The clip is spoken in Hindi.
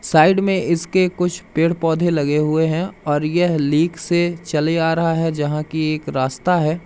साइड में इसके कुछ पेड़ पौधे लगे हुए हैं और यह लीक से चले आ रहा है जहां की एक रास्ता है।